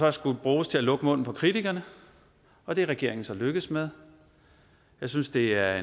har skullet bruges til at lukke munden på kritikerne og det er regeringen så lykkedes med jeg synes det er